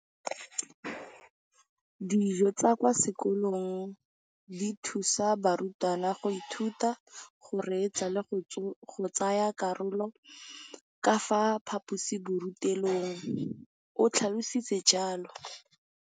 Dijo tsa kwa sekolong dithusa barutwana go ithuta, go reetsa le go tsaya karolo ka fa phaposiborutelong, o tlhalositse jalo.